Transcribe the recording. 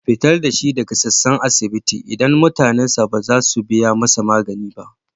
Fitar da shi daga sassan asibiti, idan mutanensa ba za su biya masa magani ba.